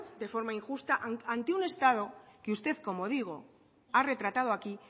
de forma injusta ante un estado que usted como digo ha retratado aquí